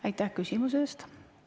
Aitäh küsimuse eest!